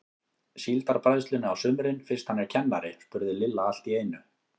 Síldarbræðslunni á sumrin fyrst hann er kennari? spurði Lilla allt í einu.